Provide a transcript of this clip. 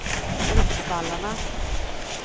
Bruksvallarna